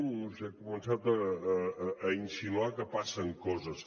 no ho sé ha començat a insinuar que passen coses